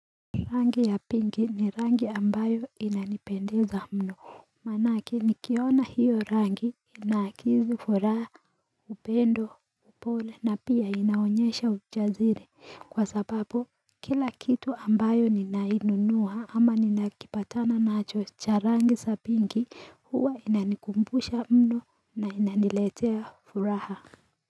Rangi ya pingi ni rangi ambayo inanipendeza mno Maanake nikiona hiyo rangi inaakizi furaha upendo upole na pia inaonyesha ujasiri kwa sababu kila kitu ambacho ninakinunua ama ninakipatana nacho cha rangi ya pingi huwa inanikumbusha mno na inaniletea furaha.